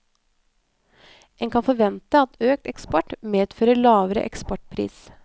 En kan forvente at økt eksport medfører lavere eksportpris.